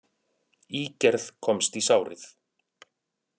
Ígerð komst í sárið